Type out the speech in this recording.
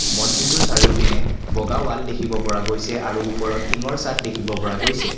মছজিদটোৰ চাৰিওপিনে বগা ৱাল দেখিব পৰা গৈছে আৰু ওপৰত টিংৰ চাদ দেখিব পৰা গৈছে।